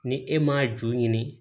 Ni e m'a ju ɲini